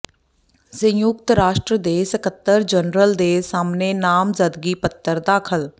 ਸੰਯੁਕਤ ਰਾਸ਼ਟਰ ਦੇ ਸਕੱਤਰ ਜਨਰਲ ਦੇ ਸਾਹਮਣੇ ਨਾਮਜ਼ਦਗੀ ਪੱਤਰ ਦਾਖਲ